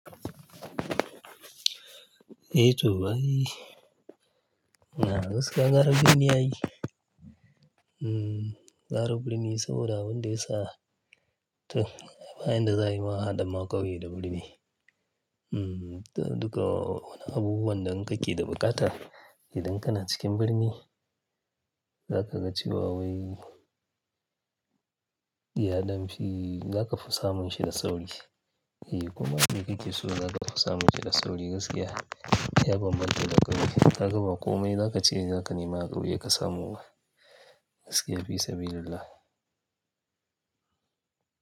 Eh to ai, gaskiya gara birni ai yayi. Mm, gara birni saboda abin da ya sa to, bayan da za a yi ma ahaɗa ma ƙauye da birni. Mm, duka wani abubuwan da in kake da bukata idan kana cikin birni za ka ga cewa wai iyaden fi za ka fi samun shi da sauri. Koma me kake so za ka fi samun shi da sauri gaskiya. Ya bambanta da ƙauye. Ka ga ba komai za ka ce za ka nema a ƙauye ka samu ba. Gaskiya fi sabilil llah.